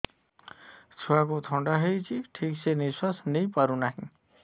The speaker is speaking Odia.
ଛୁଆକୁ ଥଣ୍ଡା ହେଇଛି ଠିକ ସେ ନିଶ୍ୱାସ ନେଇ ପାରୁ ନାହିଁ